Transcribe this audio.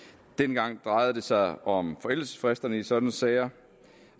dengang drejede det sig om forældelsesfristerne i sådanne sager